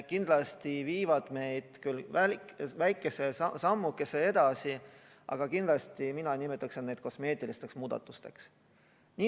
Kindlasti viivad need meid väikese sammukese edasi, aga mina nimetaksin neid kosmeetilisteks muudatusteks.